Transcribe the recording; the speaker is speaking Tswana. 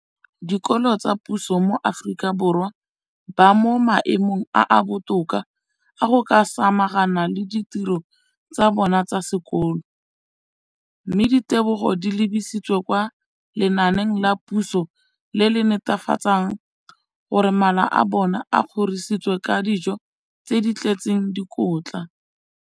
dikolo tsa puso mo Aforika Borwa ba mo maemong a a botoka a go ka samagana le ditiro tsa bona tsa sekolo, mme ditebogo di lebisiwa kwa lenaaneng la puso le le netefatsang gore mala a bona a kgorisitswe ka dijo tse di tletseng dikotla.